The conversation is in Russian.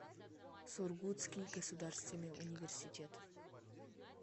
сургутский государственный университет